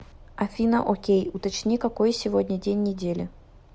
афина окей уточни какой сегодня день недели